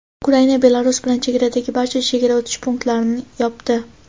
Ukraina Belarus bilan chegaradagi barcha chegara o‘tish punktlarini yopdi.